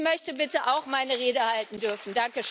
Ich möchte bitte auch meine Rede halten dürfen.